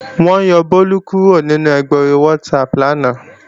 Wọ́n yọ Bólú kúrò nínú ẹgbẹ́ ori WhatsApp lánàá